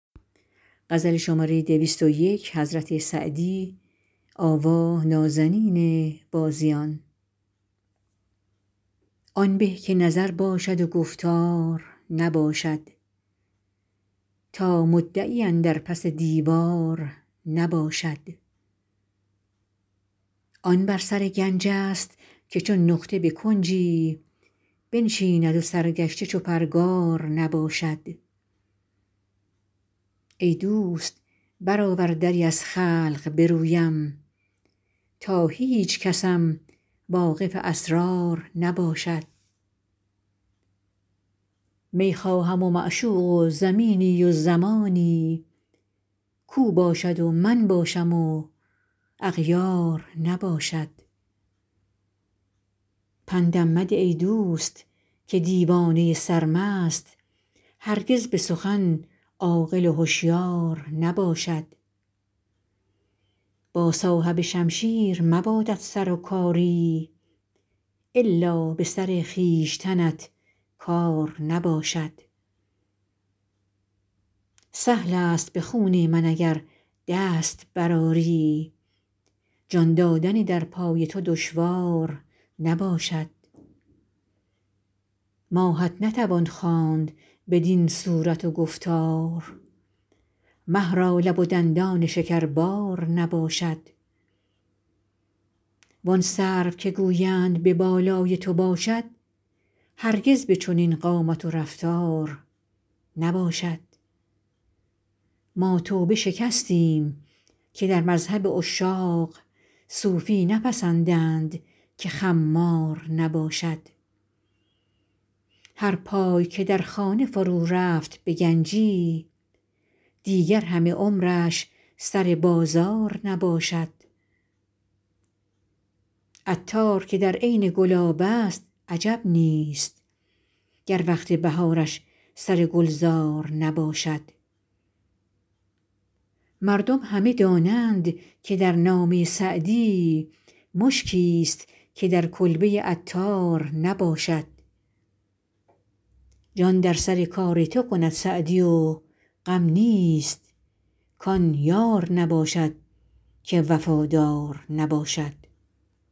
آن به که نظر باشد و گفتار نباشد تا مدعی اندر پس دیوار نباشد آن بر سر گنج ست که چون نقطه به کنجی بنشیند و سرگشته چو پرگار نباشد ای دوست برآور دری از خلق به رویم تا هیچکسم واقف اسرار نباشد می خواهم و معشوق و زمینی و زمانی کاو باشد و من باشم و اغیار نباشد پندم مده ای دوست که دیوانه سرمست هرگز به سخن عاقل و هشیار نباشد با صاحب شمشیر مبادت سر و کاری الا به سر خویشتنت کار نباشد سهل است به خون من اگر دست برآری جان دادن در پای تو دشوار نباشد ماهت نتوان خواند بدین صورت و گفتار مه را لب و دندان شکربار نباشد وان سرو که گویند به بالای تو باشد هرگز به چنین قامت و رفتار نباشد ما توبه شکستیم که در مذهب عشاق صوفی نپسندند که خمار نباشد هر پای که در خانه فرو رفت به گنجی دیگر همه عمرش سر بازار نباشد عطار که در عین گلاب است عجب نیست گر وقت بهارش سر گلزار نباشد مردم همه دانند که در نامه سعدی مشکیست که در کلبه عطار نباشد جان در سر کار تو کند سعدی و غم نیست کان یار نباشد که وفادار نباشد